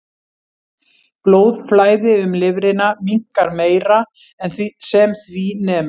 Blóðflæði um lifrina minnkar meira en sem því nemur.